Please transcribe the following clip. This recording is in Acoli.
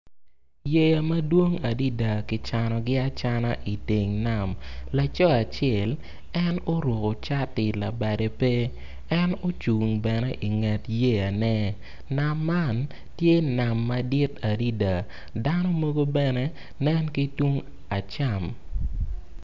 Yeya madwong adida ki canogi acana iteng nam laco acel en oruku cati labade peke en ocung bene inget yeyane nam man tye nam madit adida dano mogo bene nen ki tung acam